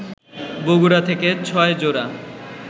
বগুড়া থেকে ৬ জোড়া